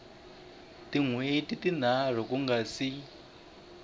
hweti tinharhu ku nga si